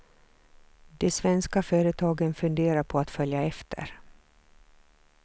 De svenska företagen funderar på att följa efter.